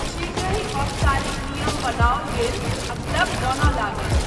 शीघ्रहि औपचारिक नियम बनाओल गेल आ क्लब बनय लागल।